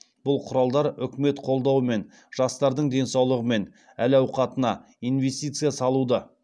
бұл құралдар үкімет қолдауымен жастардың денсаулығы мен әл ауқатына инвестиция салуды